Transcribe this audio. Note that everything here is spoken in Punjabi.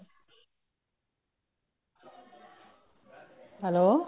hello